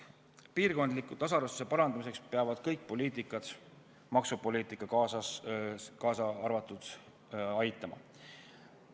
Piirkondliku tasaarvestuse parandamiseks peavad kõik poliitikad, maksupoliitika kaasa arvatud, kaasa aitama.